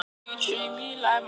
Bríanna, áttu tyggjó?